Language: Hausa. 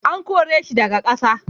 An kore shi daga ƙasa.